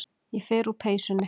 Ég fer úr peysunni.